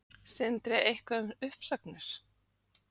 Sindri: Eitthvað um uppsagnir?